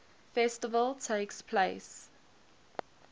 festival takes place